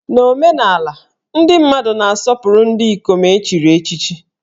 Na omenala, ndị mmadụ na-asọpụrụ ndị ikom e chiri echichi